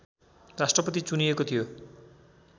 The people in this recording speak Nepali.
राष्ट्रपति चुनिएको थियो